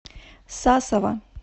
сасово